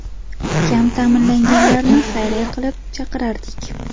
Kam ta’minlanganlarni xayriya qilib chaqirardik.